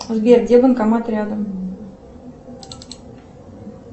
сбер где банкомат рядом